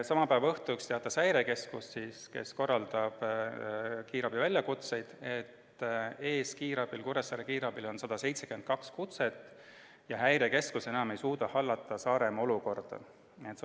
Sama päeva õhtul teatas häirekeskus, kes korraldab kiirabi väljakutseid, et Kuressaare kiirabil on ees 172 kutset ja häirekeskus ei suuda Saaremaa olukorda enam hallata.